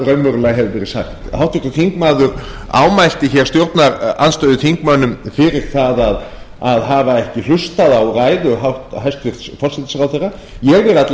hvað raunverulega hefur verið sagt háttvirtur þingmaður ámælti hér stjórnarandstöðuþingmönnum fyrir það að hafa ekki hlustað á ræðu hæstvirts forsætisráðherra ég er alla